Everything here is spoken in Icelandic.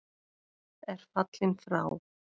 er fallinn frá.